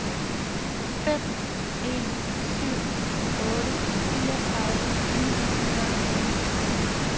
fem en syv otte fireogtredive ni hundrede og ti